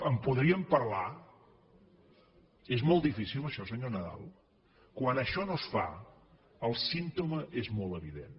en podríem parlar és molt difícil això senyor nadal quan això no es fa el símptoma és molt evident